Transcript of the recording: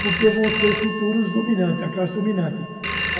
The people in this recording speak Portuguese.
porque vão ser os futuros dominantes, a classe dominante.